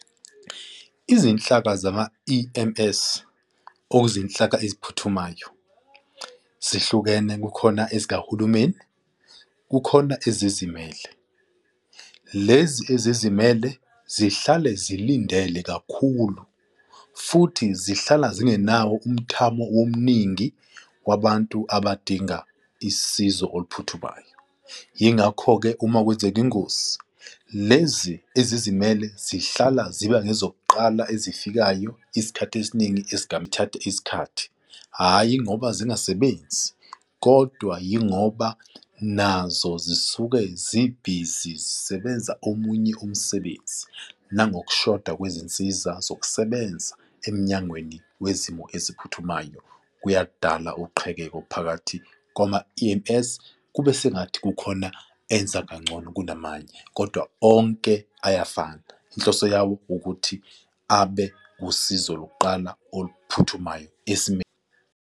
Izinhlaka zama-E_M_S ozinhlaka eziphuthumayo zihlukene, kukhona ezikahulumeni, kukhona ezizimele. Lezi ezizimele zihlale zilindele kakhulu futhi zihlala zingenawo umthamo omningi wabantu abadinga isizo oluphuthumayo. Yingakho-ke uma kwenzeka ingozi lezi ezizimele zihlala ziba ngezokuqala ezifikayo. Isikhathi esiningi esigame ukuthatha isikhathi, hhayi ngoba zingasebenzi kodwa yingoba nazo zisuke zibhizi zisebenza omunye umsebenzi nangokushoda kwezinsiza zokusebenza emnyangweni wezimo eziphuthumayo kuyakudala uqhekeko phakathi kwama-E_M_S kube sengathi kukhona enza kangcono kunamanje kodwa onke ayafana. Inhloso yawo ukuthi abe usizo lokuqala oluphuthumayo esimeni.